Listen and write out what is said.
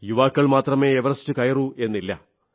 യുവാക്കൾ മാത്രമേ എവറസ്റ്റ് കയറൂ എന്നില്ല